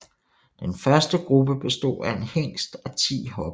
Den første gruppe bestod af en hingst og ti hopper